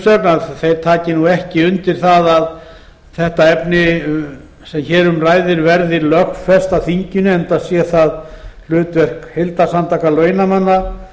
umsögn að þeir taki ekki undir það að þetta efni sem hér um ræðir verði lögfest á þinginu enda sé það hlutverk heildarsamtaka launamanna að